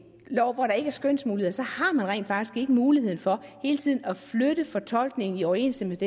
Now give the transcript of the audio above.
lov hvor der ikke er skønsmuligheder så har man rent faktisk ikke muligheden for hele tiden at flytte fortolkningen i overensstemmelse